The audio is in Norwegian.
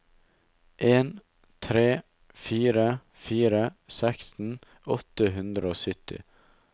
en tre fire fire seksten åtte hundre og sytti